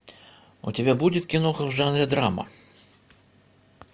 у тебя будет киноха в жанре драма